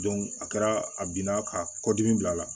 a kɛra a bina ka kɔdimi bila a la